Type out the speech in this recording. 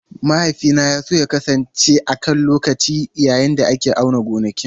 Mahaifina ya so ya kasance a can lokacin da ake auna gonakin.